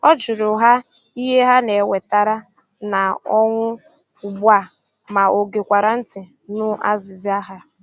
Ọ jụrụ ha ihe na-ewetara ha ọnụ ugbu a ma ọ gekwara ntị nụ azịza ha.